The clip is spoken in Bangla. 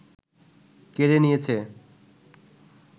কেড়ে নিয়েছে